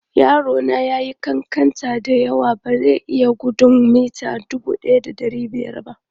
Yaro na ya yi ƙanƙanta da yawa, ba zai iya gudun mita 1500 ba.